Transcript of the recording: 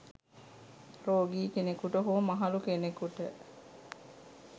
රෝගි කෙනෙකුට හෝ මහලු කෙනෙකුට